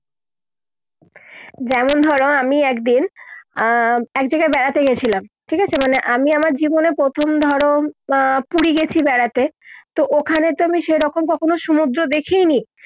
যেমন ধরো আমি একদিন, আহ এক জায়গায় বেড়াতে গিয়েছিলাম ঠিক আছে মানে আমি আমার জীবনে প্রথম ধরো আহ পুরী গেছি বেড়াতে তো ওখানে তো আমি সে রকম কখনও সমুদ্রে দেখেই নি